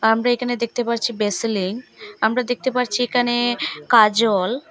আমরা এখানে দেখতে পারছি বেসলিন আমরা দেখতে পারছি এখানে কাজল।